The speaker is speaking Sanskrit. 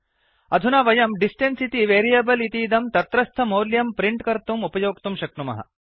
अधुना वयं डिस्टेन्स इति वेरियेबल् इतीदं तत्रस्थमौल्यं प्रिंट् कर्तुम् उपयोक्तुं शक्नुमः